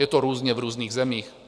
Je to různě v různých zemích.